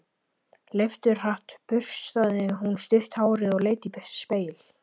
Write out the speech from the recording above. Leifturhratt burstaði hún stutt hárið og leit í spegil.